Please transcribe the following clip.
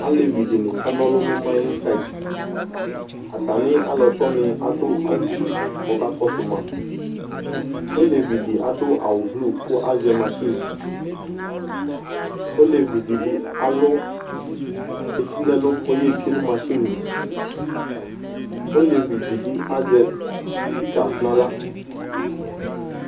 Alevi de ne kana ɔlu np mainin sayitAta ne alɔtinu ado awufue ko ko kakoso maOlevi de ado awu blu ko azɛ machineOlevi de be alu eti no ɛlu ko ye tsie no machine li Olevi de be azɛ pikas no ala